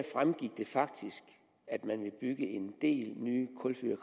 fremgik det faktisk at man vil bygge en del nye kulfyrede